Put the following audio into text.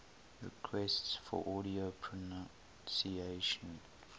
requests for audio pronunciation